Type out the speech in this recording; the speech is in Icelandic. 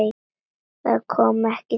Það kom ekki til greina.